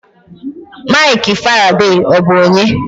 Mikel Faraday, ọ bụ onye?